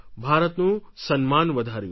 ભારતનું સન્માન વધાર્યું